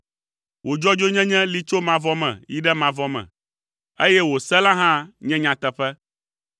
Wò dzɔdzɔenyenye li tso mavɔ me yi ɖe mavɔ me, eye wò se la hã nye nyateƒe.